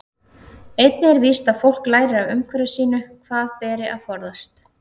Einnig er víst að fólk lærir af umhverfi sínu hvað beri að forðast.